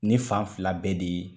Nin fan fila bɛɛ de ye